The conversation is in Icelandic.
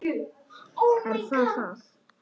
Er það það?